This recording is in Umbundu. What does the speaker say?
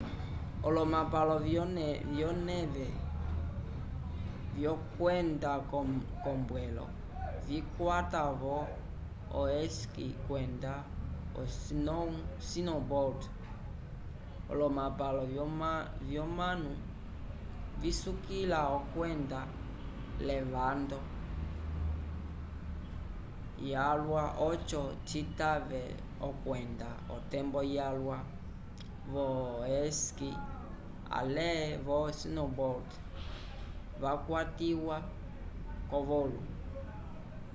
olomapalo vyoneve vyokwenda k'ombwelo vikwata-vo o esqui kwenda o snowboard olomapalo vyomanu visukila okwenda l'evando yalwa oco citave okwenda otembo yalwa vo-esqui ale vo snowboard yakwatiwa k'ovolu